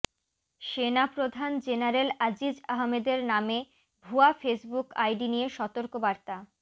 সেনাপ্রধান জেনারেল আজিজ আহমেদের নামে ভুয়া ফেসবুক আইডি নিয়ে সতর্ক বার্তা